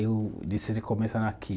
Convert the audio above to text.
Eu decidi começar aqui.